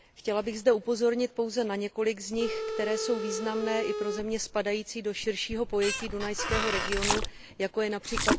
Chtěla bych zde upozornit pouze na několik z nich, které jsou významné i pro země spadající do širšího pojetí dunajského regionu, jako je např.